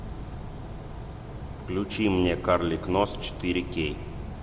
включи мне карлик нос четыре кей